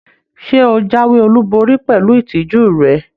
Ṣe o jáwéolubori pẹlú ìtìjú rẹ?